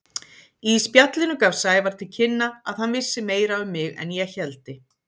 Í spjallinu gaf Sævar til kynna að hann vissi meira um mig en ég héldi.